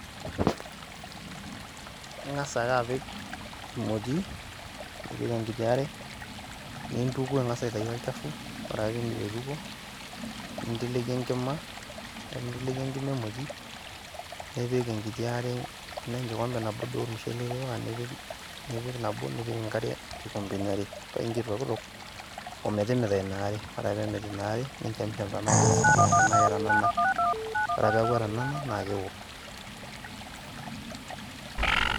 Ing'as ake apik emoti, nipik enkiti are, nintuku ang'as aitayu olchafu, ore ake pee iindip aitukuo, ninteleki enkima, ore ake pee inteleki enkima emoti, nipik enkiti are, tenaa enkikombe nabo duo ormushele itipika nipik nabo nipik enkare inkikombeni are, paa incho itokitok o metimita ina are. Ore ake pee emit ina are, ninchamisham tenaa keirisike... tenaa ketanana. Ore ake peeku etanana, naa keo.